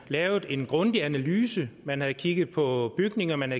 lavet en grundig analyse at man havde kigget på bygninger at man